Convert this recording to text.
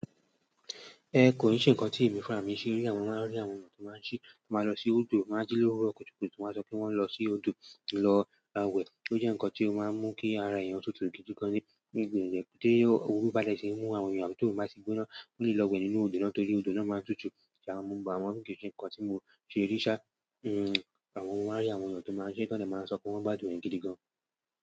Ẹ kò n ṣe ńkan tí èmi fúnra mi ṣe rí, àmọ mọ máa rí àwọn ènìyàn tí máa ṣí, tí máa lọ sí odò máà ń jí lówuro kùtùkùtù tí wọ́n sọ pé wọ́n ń lọ sí odò lọ wẹ̀. Ó jẹ́ ńkan tí ó máa ń mú kí ara èèyàn tutù gidi gan ní gbogbo ìgbà. Ṣé òwúrọ̀ bá dẹ̀ ṣì mú àwọn ènìyàn mi tó máa sì gbóná fún lílọ wẹ̀ nínú odò náà torí odò náà máa tutù. Ṣàì mọ̀, àwọn ń ṣe ńkan tí mo ṣe rí ṣá, àwọn ọmọ máa rí àwọn ènìyàn tó máa ṣí tọ́nẹ̀máa sọ pé wọ́n gbá dún ẹ̀ gidi gan.